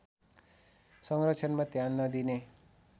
संरक्षणमा ध्यान नदिने